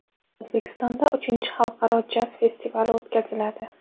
O‘zbekistonda uchinchi xalqaro jaz festivali o‘tkaziladi.